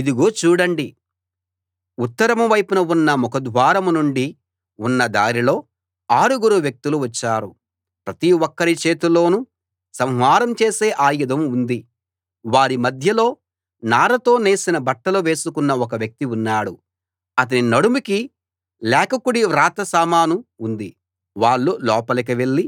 ఇదిగో చూడండి ఉత్తరం వైపున ఉన్న ముఖద్వారం నుండి ఉన్న దారిలో ఆరుగురు వ్యక్తులు వచ్చారు ప్రతి ఒక్కరి చేతిలోనూ సంహారం చేసే ఆయుధం ఉంది వారి మధ్యలో నారతో నేసిన బట్టలు వేసుకున్న ఒక వ్యక్తి ఉన్నాడు అతని నడుముకి లేఖకుడి వ్రాత సామాను ఉంది వాళ్ళు లోపలికి వెళ్ళి